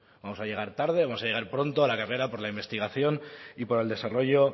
vamos a llegar tarde o vamos a llegar pronto a la carrera por la investigación y por el desarrollo